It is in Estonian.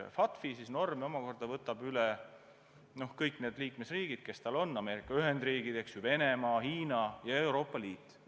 FATF-i norme võtavad üle kõik liikmesriigid, kes sinna kuuluvad: Ameerika Ühendriigid, Venemaa, Hiina ja Euroopa Liit.